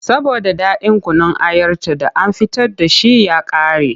Saboda ɗaɗin kunun ayarta da an fita da shi ya ƙare.